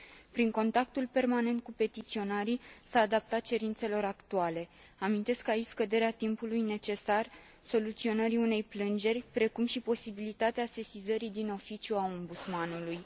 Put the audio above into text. Prin contactul permanent cu petiționarii s a adaptat cerințelor actuale amintesc aici scăderea timpului necesar soluționării unei plângeri, precum și posibilitatea sesizării din oficiu a Ombudsmanului.